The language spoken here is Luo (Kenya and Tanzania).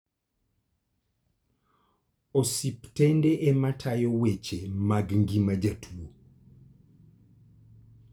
Osiptende ema tayo weche mag ngima jotuo.